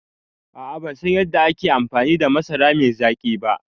A'a bansan yadda ake amfani da masara mai zaƙi ba